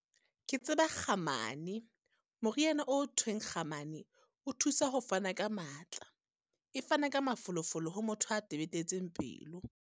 Ke tseba kgamane, moriana o thweng kgamane. O thusa ho fana ka matla, e fana ka mafolofolo ho motho a tebetetseng pelo.